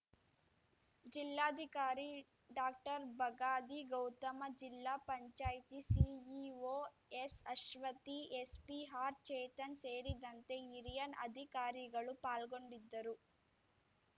ಜಿಲ್ಲಾಧಿಕಾರಿ ಡಾಕ್ಟರ್ಬಗಾದಿ ಗೌತಮ ಜಿಲ್ಲಾ ಪಂಚಾಯತಿ ಸಿಇಒ ಎಸ್‌ಅಶ್ವತಿ ಎಸ್ಪಿ ಆರ್ ಚೇತನ್‌ ಸೇರಿದಂತೆ ಹಿರಿಯ ಅಧಿಕಾರಿಗಳು ಪಾಲ್ಗೊಂಡಿದ್ದರು